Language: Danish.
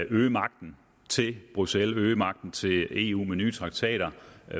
øge magten til bruxelles øge magten til eu med nye traktater